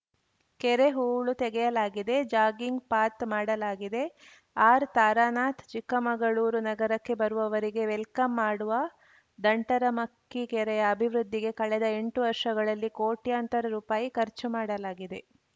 ಕೆರೆ ಹೂಳು ತೆಗೆಯಲಾಗಿದೆ ಜಾಗಿಂಗ್‌ ಪಾಥ್‌ ಮಾಡಲಾಗಿದೆ ಆರ್‌ತಾರಾನಾಥ್‌ ಚಿಕ್ಕಮಗಳೂರು ನಗರಕ್ಕೆ ಬರುವವರಿಗೆ ವೆಲ್‌ಕಮ್‌ ಮಾಡುವ ದಂಟರಮಕ್ಕಿ ಕೆರೆಯ ಅಭಿವೃದ್ಧಿಗೆ ಕಳೆದ ಎಂಟು ವರ್ಷಗಳಲ್ಲಿ ಕೋಟ್ಯಂತರ ರುಪಾಯಿ ಖರ್ಚು ಮಾಡಲಾಗಿದೆ